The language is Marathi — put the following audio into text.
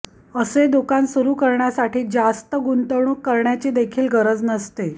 असे दुकान सुरू करण्यासाठी जास्त गुंतवणूक करण्याची देखील गरज नसते